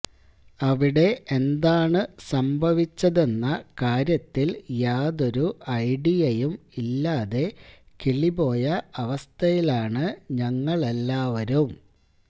അവിടെ എന്താണ് സംഭവിച്ചതെന്ന കാര്യത്തില് യാതൊരു ഐഡിയയും ഇല്ലാതെ കിളിപോയ അവസ്ഥയിലാണ് ഞങ്ങളെല്ലാവരും